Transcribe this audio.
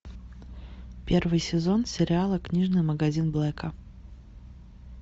первый сезон сериала книжный магазин блэка